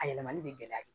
A yɛlɛmali bɛ gɛlɛya ye